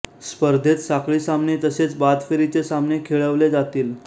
स्पर्धेत साखळी सामने तसेच बाद फेरीचे सामने खेळवले जातील